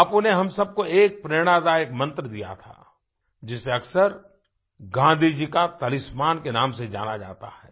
बापू ने हम सब को एक प्रेरणादायक मंत्र दिया था जिसे अक्सर गाँधी जी का तलिस्मान के नाम से जाना जाता है